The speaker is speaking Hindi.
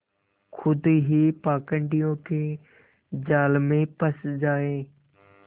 खुद ही पाखंडियों के जाल में फँस जाए